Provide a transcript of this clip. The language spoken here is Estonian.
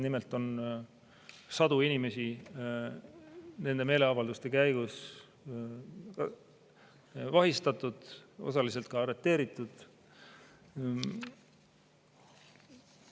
Nimelt on sadu inimesi nende meeleavalduste käigus vahistatud, osaliselt ka arreteeritud.